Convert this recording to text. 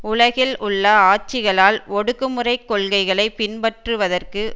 உலகில் உள்ள ஆட்சிகளால் ஒடுக்குமுறைக் கொள்கைகளை பின்பற்றுவதற்கு